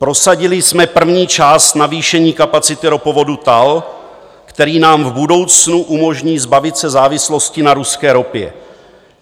Prosadili jsme první část navýšení kapacity ropovodu TAL, který nám v budoucnu umožní zbavit se závislosti na ruské ropě.